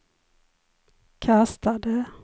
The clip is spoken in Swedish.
kastade